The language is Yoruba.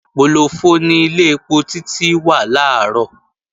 Pòlòfọ ni ilé ẹpo Títí wà làárọ̀